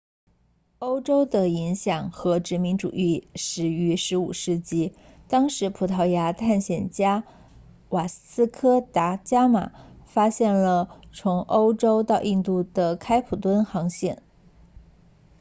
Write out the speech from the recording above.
欧洲的影响和殖民主义始于15世纪当时葡萄牙探险家瓦斯科达伽马 vasco da gama 发现了从欧洲到印度的开普敦航线